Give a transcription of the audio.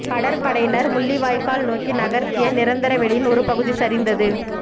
கடற்படையினர் முள்ளிவாய்க்கால் நோக்கி நகர்த்திய நிரந்தர வேலியின் ஒரு பகுதி சரிந்தது